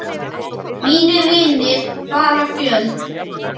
Mínir vinir fara fjöld